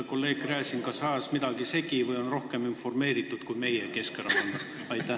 Kolleeg Gräzin kas ajas midagi segi või on rohkem informeeritud kui meie Keskerakonnas.